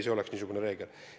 See oleks niisugune reegel.